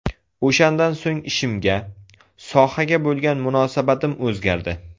O‘shandan so‘ng ishimga, sohaga bo‘lgan munosabatim o‘zgardi.